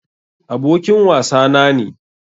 Abokin wasa na ne.